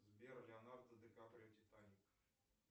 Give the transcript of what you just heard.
сбер леонардо ди каприо титаник